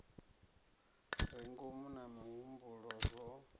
re ngomu na mihumbulo zwo